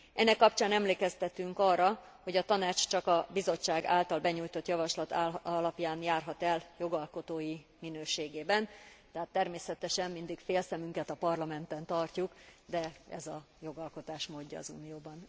Ennek kapcsán emlékeztetünk arra, hogy a Tanács csak a Bizottság által benyújtott javaslat alapján járhat el jogalkotói minőségében, de hát természetesen mindig fél szemünket a Parlamenten tartjuk, de ez a jogalkotás módja az Unióban.